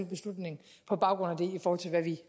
beslutning på baggrund